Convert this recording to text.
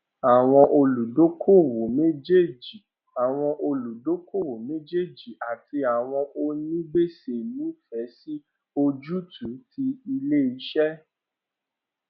àwọn olùdookòwò méjèèjì àwọn olùdookòwò méjèèjì àti àwọn onígbèsè nífẹẹ sí ojútùú ti ilé-iṣẹ́